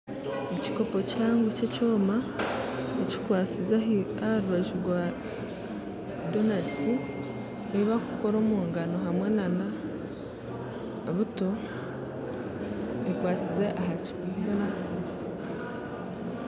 Ekikoopo kihango ky'ekyoma kikwasinze aha rubanju rwa doonati eyi bakukora omugaano na buto ekwasinze aha kipaapura